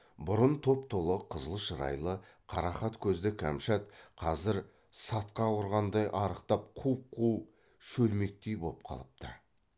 бұрын топ толық қызыл шырайлы қарақат көзді кәмшат қазір сатқақ ұрғандай арықтап құп қу шөлмектей боп қалыпты